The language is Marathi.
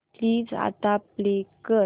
प्लीज आता प्ले कर